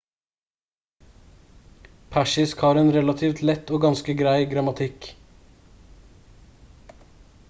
persisk har en relativt lett og ganske grei grammatikk